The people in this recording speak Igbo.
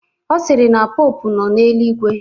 Ọ sịrị na popu nọ n'eluigwe